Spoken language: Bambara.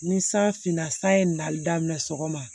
Ni san finna sa ye nali daminɛ sɔgɔma